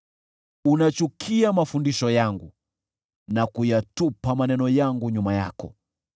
Unachukia mafundisho yangu na kuyatupa maneno yangu nyuma yako.